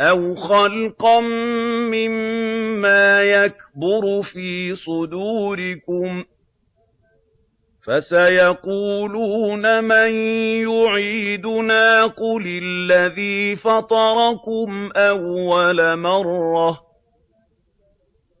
أَوْ خَلْقًا مِّمَّا يَكْبُرُ فِي صُدُورِكُمْ ۚ فَسَيَقُولُونَ مَن يُعِيدُنَا ۖ قُلِ الَّذِي فَطَرَكُمْ أَوَّلَ مَرَّةٍ ۚ